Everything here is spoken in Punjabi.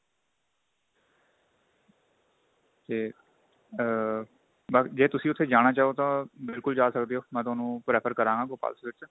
ਤੇ ਆ ਬੱਸ ਜੇ ਤੁਸੀਂ ਉੱਥੇ ਜਾਣਾ ਚਾਉ ਤਾਂ ਬਿਲਕੁਲ ਜਾ ਸਕਦੇ ਓ ਮੈਂ ਤੁਹਾਨੂੰ prefer ਕਰਾਂ ਗਾ Gopal sweet ਤੇ